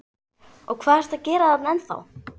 Og hvað ertu að gera þarna ennþá?